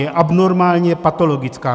Je abnormální, je patologická.